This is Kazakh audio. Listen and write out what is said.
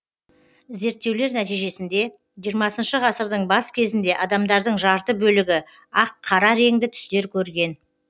зерттеулер нәтижесінде жиырмасыншы ғасырдың бас кезінде адамдардың жарты бөлігі ақ қара реңді түстер көрген